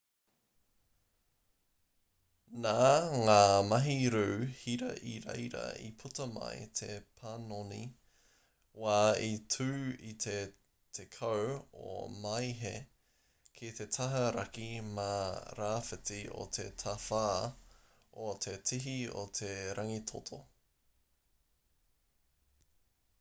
nā ngā mahi rū hira i reira i puta mai te panoni wā i tū i te 10 o māehe ki te taha raki mā rāwhiti o te tawhā o te tihi o te rangitoto